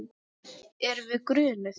Erum við grunuð?